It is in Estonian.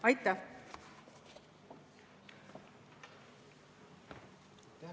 Aitäh!